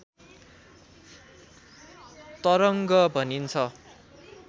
तरङ्ग भनिन्छ